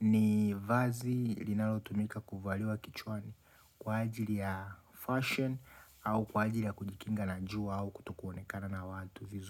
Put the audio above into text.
ni vazi linalotumika kuvaliwa kichwani kwa ajili ya fashion au kwa ajili ya kujikinga na jua au kutokuonekana na watu vizuri.